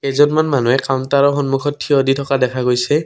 কেইজনমান মানুহে কাউন্টাৰ ৰ সন্মুখত থিয় দি থকা দেখা গৈছে।